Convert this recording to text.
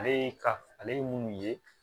Ale ye ka ale ye minnu ye